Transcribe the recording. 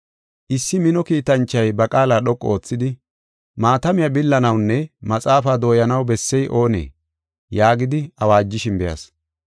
Issi mino kiitanchoy ba qaala dhoqu oothidi, “Maatamiya billanawunne maxaafaa dooyanaw bessey oonee?” yaagidi awaajishin be7as.